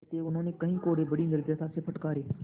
अतएव उन्होंने कई कोडे़ बड़ी निर्दयता से फटकारे